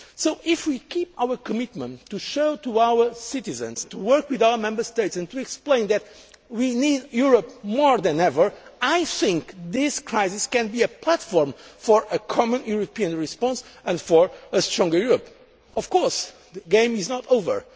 So, if we keep our commitment to give the facts to our citizens, to work with our Member States and to explain that we need Europe more than ever, I think this crisis can be a platform for a common European response and for a stronger Europe. Of course, the game is not over.